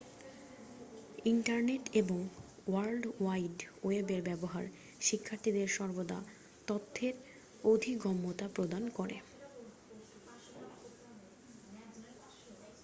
internet এবং world wide ওয়েবের ব্যবহার শিক্ষার্থীদের সর্বদা তথ্যের অধিগম্যতা প্রদান করে